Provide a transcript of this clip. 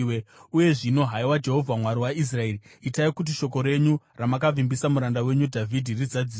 Uye zvino, haiwa Jehovha Mwari waIsraeri, itai kuti shoko renyu ramakavambisa muranda wenyu Dhavhidhi rizadziswe.